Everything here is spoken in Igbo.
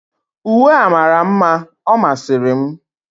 uwe a mara mma, ọ masịrị m.